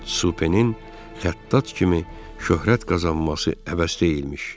Supenin xəttat kimi şöhrət qazanması əbəs deyilmiş.